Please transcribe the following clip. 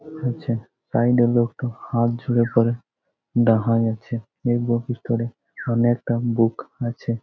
হচ্ছে সাইড -এ লোকটা হাত জোরে করে ডাহাই আছে। এই বুক স্টোর এ অনেকটা বুক আছে ।